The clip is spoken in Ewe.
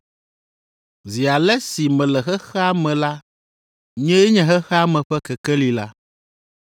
Zi ale si mele xexea me la, nyee nye xexea me ƒe kekeli la.”